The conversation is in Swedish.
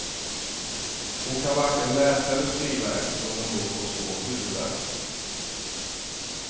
Hon kan varken läsa eller skriva eftersom hon då får svår huvudvärk.